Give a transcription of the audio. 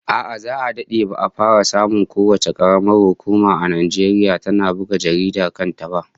A'a, za'a dade ba'a fara samun kowace karamar hukuma a Najeriya tana buga jaridar kanta ba